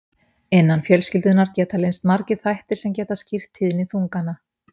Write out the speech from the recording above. Innan fjölskyldunnar geta leynst margir þættir sem geta skýrt tíðni þungana.